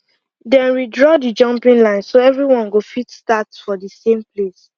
dem redraw the jumping line so everyone go fit start for the same place